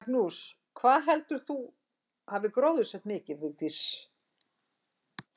Magnús: Hvað heldurðu að þú hafir gróðursett mikið, Vigdís, um ævina, veistu það nokkuð?